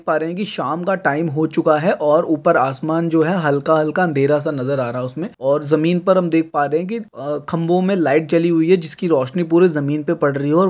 शाम का टाइम हो चुका है और ऊपर आसमान जो है हलका हलका अंधेरा सा नज़र आ रहा है उसमे और ज़मीन पर हम देख पा रहे हैं अ की खंबों में लाइट जली हुई है जिसकी रोशनी पूरे ज़मीन पर पड़ रही है और --